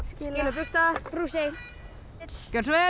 bursta brúsi gjörðu svo vel